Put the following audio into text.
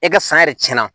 E ka san yɛrɛ tiɲɛna